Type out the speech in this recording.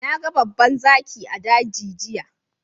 Na gan babban zaki a dagi giya.